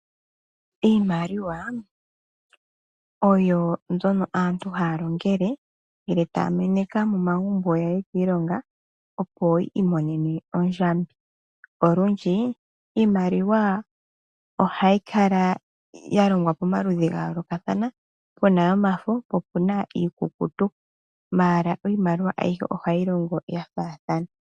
Iimaliwa oyo mbyono aantu haya longele ngele taya meneka momagumbo yaye kiilonga opo yiimonene ondjambi. Olundji iimaliwa ohayi kala ya longwa pamaludhi ga yoolokathana puna yomafo po opuna iikutu ashike iimaliwa ayihe ohayi longo ya faathana.